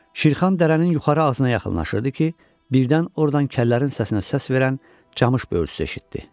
Şirxan dərənin yuxarı ağzına yaxınlaşırdı ki, birdən ordan kəllərin səsinə səs verən camış böyürtüsü eşitdi.